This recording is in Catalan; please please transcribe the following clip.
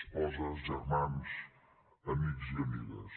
esposes germans amics i amigues